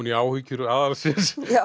í áhyggjur aðalsins